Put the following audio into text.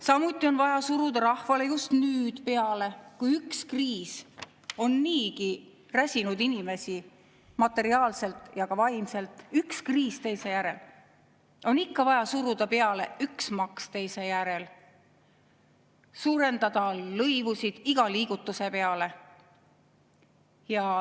Samuti on vaja rahvale just nüüd, kui üks kriis teise järel on niigi räsinud inimesi materiaalselt ja ka vaimselt, suruda peale üks maks teise järel ja suurendada lõivusid iga liigutuse peale.